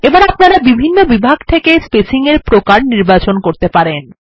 এবার আপনারা বিভিন্ন বিভাগ থেকে spacing এর প্রকার নির্বাচন করতে পারেন